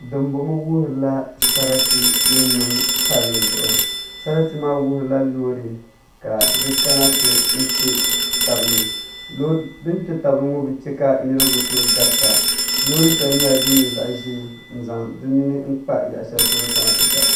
Dinbɔŋɔ wuhurila sarati ni niŋ shɛm sarati maa wuhurila loori ka di kana ti kpɛ tabi ni din kpɛ tabi ni ŋɔ bi chɛ ka niraba bi tooi garita loori shɛli nyɛla din nyɛ zaɣ ʒiɛ n zaŋ di nini kpa yaɣa shɛli polo kana ti garita